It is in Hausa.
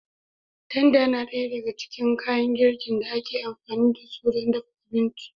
Tanda yana ɗaya daga cikin kayan girkin da ake amfani da su don dafa abinci.